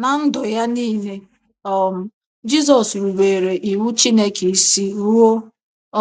Ná ndụ ya niile, um Jizọs rubeere Iwu Chineke isi ruo